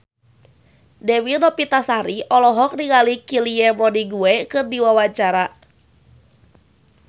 Dewi Novitasari olohok ningali Kylie Minogue keur diwawancara